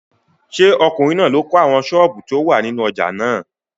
Ṣé ọkùnrin náà ló kọ́ àwọn sọ́ọ̀bù tó wà nínú ojà náà?